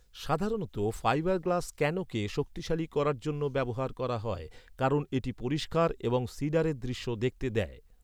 সাধারণত ফাইবারগ্লাস ক্যানোকে শক্তিশালী করার জন্য ব্যবহার করা হয়। কারণ এটি পরিষ্কার এবং সিডারের দৃশ্য দেখতে দেয়।